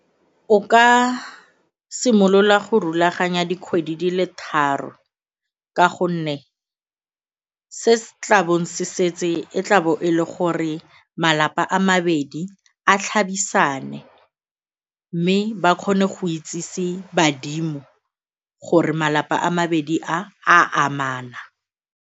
O ka simolola go rulaganya dikgwedi di le tharo ka gonne se se tlabong se setse e tlabo e le gore malapa a mabedi a tlhabisane mme ba kgone go itsise badimo gore malapa a mabedi a a amana.